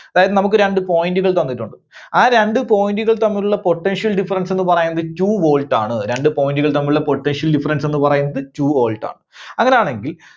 അതായത് നമുക്ക് രണ്ട് point കൾ തന്നിട്ടുണ്ട്. ആ രണ്ട് point കൾ തമ്മിലുള്ള potential difference എന്ന് പറയുന്നത് two volt ആണ്. രണ്ട് point കൾ തമ്മിലുള്ള potential difference എന്ന് പറയുന്നത് two volt ആണ്. അങ്ങനെ ആണെങ്കിൽ